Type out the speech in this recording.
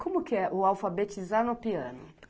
Como que é o alfabetizar no piano?